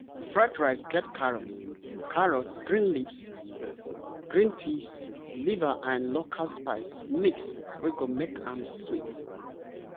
fried rice get carrots carrots green peas liver and local spice mix wey go make am sweet!